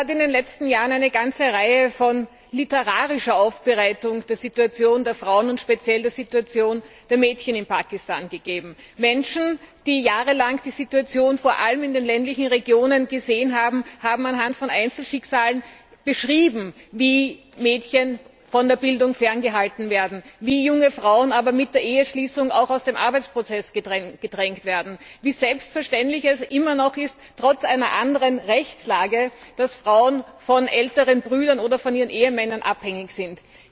Es hat in den letzten Jahren eine ganze Reihe von literarischen Aufbereitungen der Situation der Frauen, und speziell der Situation der Mädchen, in Pakistan gegeben. Menschen, die jahrelang die Situation vor allem in den ländlichen Regionen gesehen haben, haben anhand von Einzelschicksalen beschrieben, wie Mädchen von der Bildung ferngehalten werden, wie junge Frauen aber mit der Eheschließung auch aus dem Arbeitsprozess gedrängt werden, wie selbstverständlich es immer noch ist, trotz einer anderen Rechtslage, dass Frauen von älteren Brüdern oder von ihren Ehemännern abhängig sind.